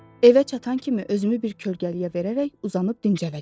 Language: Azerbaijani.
Evə çatan kimi özümü bir kölgəliyə verərək uzanıb dincələcəm.